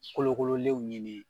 Kolokololenw ɲini